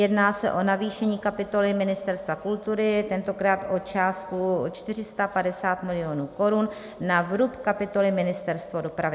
Jedná se o navýšení kapitoly Ministerstva kultury, tentokrát o částku 450 milionů korun na vrub kapitoly Ministerstvo dopravy.